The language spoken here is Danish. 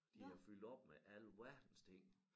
De er fyldt op med alverdens ting